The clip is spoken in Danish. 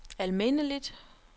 almindeligt